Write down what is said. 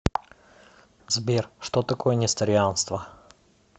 сбер что такое несторианство